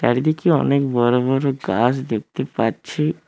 একদিকে অনেক বড় বড় গাছ দেখতে পাচ্ছি।